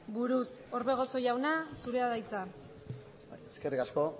buruz orbegozo jauna zure da hitza eskerrik asko